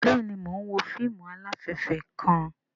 Bẹẹni, Mo n wo fíìmù alafẹfẹ kàn